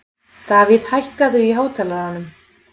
Davíð, hækkaðu í hátalaranum.